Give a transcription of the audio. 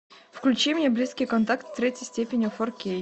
включи мне близкий контакт третьей степени фор кей